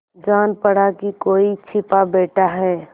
जान पड़ा कि कोई छिपा बैठा है